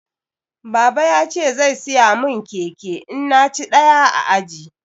Baba ya ce zai siya mun keke in na ci ɗaya a aji